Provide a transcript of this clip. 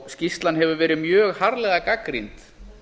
skýrslan hefur verið mjög harðlega gagnrýnd